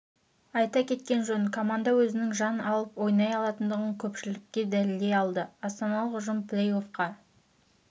айта кеткен жөн команда өзінің жан салып ойнай алатындығын көпшілікке дәлелдей алды астаналық ұжым плей-оффқа